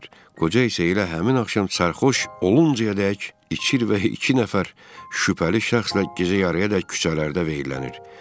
Qoca isə elə həmin axşam sərxoş oluncayədək içir və iki nəfər şübhəli şəxslə gecə yarıyadək küçələrdə veyillənir.